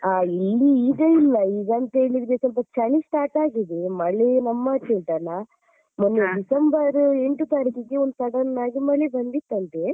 ಆ ಇಲ್ಲಿ ಈಗ ಇಲ್ಲ ಈಗ ಅಂತ ಹೇಳಿದ್ರೆ ಸ್ವಲ್ಪ ಚಳಿ start ಆಗಿದೆ ಮಳೆ ನಮ್ಮಾಚೆ ಉಂಟಲ್ಲ ಮೊನ್ನೆ December ಎಂಟು ತಾರೀಕಿಗೆ ಒಂದ್ sudden ಆಗಿ ಮಳೆ ಬಂದಿತ್ತಂತೆ.